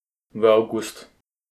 V avgust.